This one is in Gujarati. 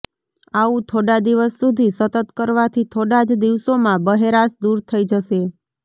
આવું થોડા દિવસ સુધી સતત કરવાથી થોડા જ દિવસોમાં બહેરાશ દુર થઇ જશે